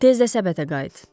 Tez də səbətə qayıt.